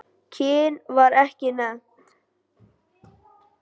Kyn var ekki nefnt.